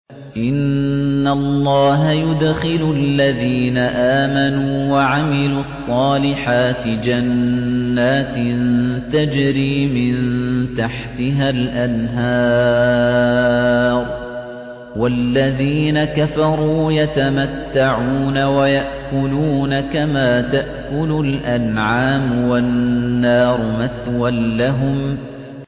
إِنَّ اللَّهَ يُدْخِلُ الَّذِينَ آمَنُوا وَعَمِلُوا الصَّالِحَاتِ جَنَّاتٍ تَجْرِي مِن تَحْتِهَا الْأَنْهَارُ ۖ وَالَّذِينَ كَفَرُوا يَتَمَتَّعُونَ وَيَأْكُلُونَ كَمَا تَأْكُلُ الْأَنْعَامُ وَالنَّارُ مَثْوًى لَّهُمْ